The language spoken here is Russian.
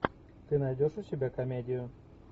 ты найдешь у себя комедию